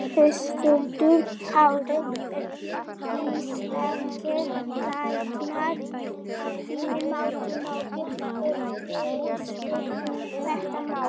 Höskuldur Kári: Eru íslenskir læknar að þínu mati nógu upplýstir um þetta mál?